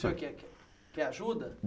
O senhor quer quer quer ajuda?